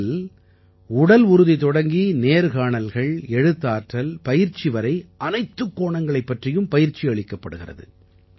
இதில் உடல் உறுதி தொடங்கி நேர்காணல்கள் எழுத்தாற்றல் பயிற்சி வரை அனைத்துக் கோணங்களைப் பற்றியும் பயிற்சி அளிக்கப்படுகிறது